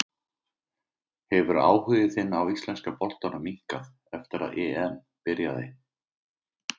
Hefur áhugi þinn á íslenska boltanum minnkað eftir að EM byrjaði?